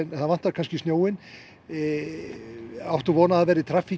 það vantar snjóinn hér áttu von á traffík